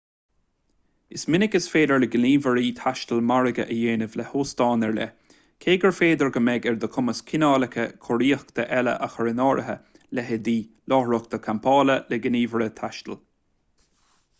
is minic is féidir le gníomhairí taistil margadh a dhéanamh le hóstáin ar leith cé gur féidir go mbeidh ar do chumas cineálacha cóiríochta eile a chur in áirithe leithéidí láithreacha campála le gníomhaire taistil